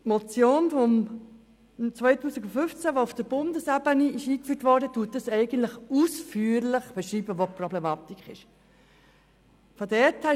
Die Motion aus dem Jahr 2015, die auf Bundesebene überwiesen wurde, beschreibt eigentlich ausführlich, wo die Problematik liegt.